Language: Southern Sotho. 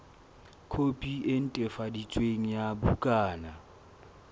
khopi e netefaditsweng ya bukana